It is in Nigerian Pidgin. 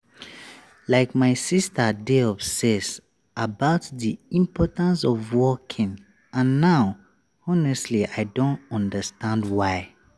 like my sister dey obsess about the importance of walking and now honestly i don understand why.